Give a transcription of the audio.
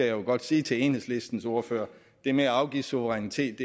jo godt sige til enhedslistens ordfører det med at afgive suverænitet